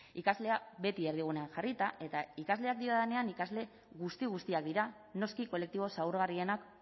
ikaslea beti erdigunean jarrita eta ikasleak diodanean ikasle guzti guztiak dira noski kolektibo zaurgarrienak